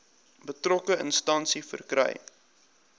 betrokke instansie verkry